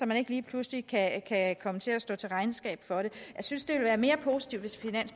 man ikke lige pludselig kan komme til at stå til regnskab for det jeg synes det ville være mere positivt